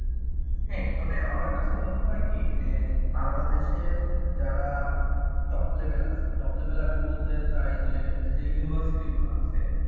হ্যাঁ তবে আমার কাছে মনে হয় কি যে বাংলাদেশে যারা top level আছে top level আমি বলতে চাই যে যে university গুলো আছে,